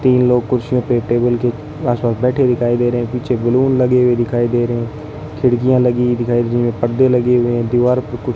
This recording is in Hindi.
तीन लोग कुर्सियों पे टेबल के आस पास बैठे हुए दिखाई दे रहे हैं पीछे बैलून लगे हुए दिखाई दे रहे हैं खिड़कियां लगी दिखाई दें रही पर्दे लगे हुए हैं दीवार पर कुछ --